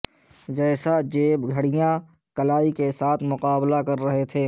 جیسا جیب گھڑیاں کلائی کے ساتھ مقابلہ کر رہے تھے